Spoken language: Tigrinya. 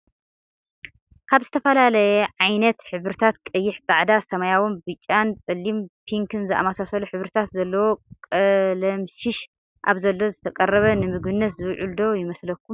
ካብ ዝተፈላለየ ዓይነታት ሕብርታት ቀይሕ፣ ፃዕዳ፣ ሰማያዊን፣ ብጫን ፣ ፀሊም፣ ፕንክን ዝኣመሳሰሉ ሕብርታት ዘለዎ ቀለምሽሽ ኣብ ዘሎ ዝተቀረበ ንምግብነት ዝውዕል ዶ ይመስለኩም?